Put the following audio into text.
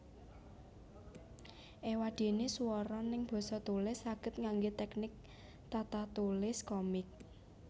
Ewadene swara neng basa tulis saged ngangge teknik tatatulis komik